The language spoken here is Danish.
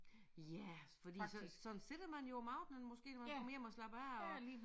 Ja fordi så sådan sidder man jo om aftenen når man kommer hjem og slapper af og